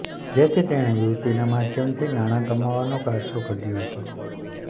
જેથી તેણે યુવતીના માધ્યમથી નાણા કમાવાનો કારસો ઘડ્યો હતો